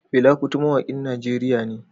Fela Kuti mawakin Najeriya ne